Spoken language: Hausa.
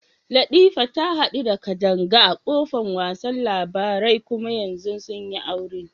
Latifa ta hadu da Kadanga a kofan wasa labarai kuma yanzu sun yi aure.